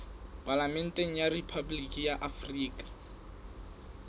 palamente ya rephaboliki ya afrika